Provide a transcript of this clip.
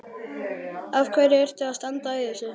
Af hverju ertu að standa í þessu?